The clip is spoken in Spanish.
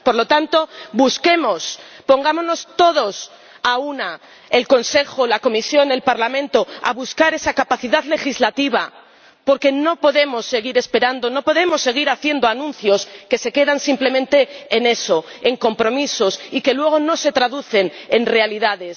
Por lo tanto, busquemos, pongámonos todos a una ―el Consejo, la Comisión, el Parlamento― a buscar esa capacidad legislativa, porque no podemos seguir esperando, no podemos seguir haciendo anuncios que se quedan simplemente en eso, en compromisos, y que luego no se traducen en realidades.